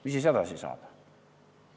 Mis edasi saab?